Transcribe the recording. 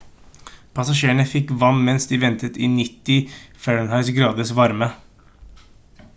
passasjerene fikk vann mens de ventet i 90f-graders varme